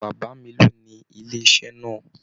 Bàbá mí lóni ilé iṣẹ náà.